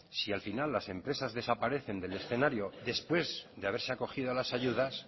si al final las empresas desaparecen del escenario después de haberse acogido a las ayudas